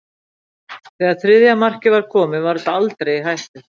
Þegar þriðja markið var komið var þetta aldrei í hættu.